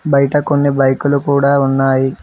బయట కొన్ని బైకులు కూడా ఉన్నాయి.